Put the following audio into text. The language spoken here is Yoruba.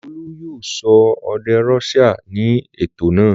Olú yóò sọ èdè Russia ní ètò náà.